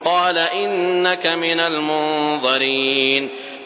قَالَ إِنَّكَ مِنَ الْمُنظَرِينَ